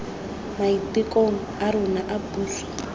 maitekong a rona a puso